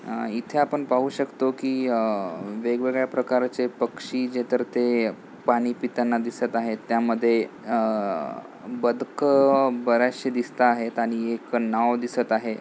अह इथे आपण पाहू शकतो की अह वेगवेगळ्या प्रकाराचे पक्षी जे तर ते पाणी पिताना दिसत आहे त्यामध्ये अह बदकं बर्‍याशचे दिसताहेत आणि एक नाव दिसत आहे.